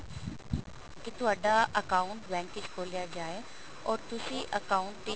ਕੀ ਤੁਹਾਡਾ account bank ਵਿੱਚ ਖੋਲਿਆ ਜਾਏ or ਤੁਸੀਂ account